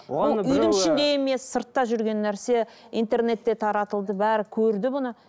үйдің ішінде емес сыртта жүрген нәрсе интернетте таратылды бәрі көрді бұны